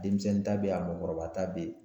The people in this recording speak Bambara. Denmisɛnnin ta bɛ yen a mɔgɔkɔrɔba ta bɛ yen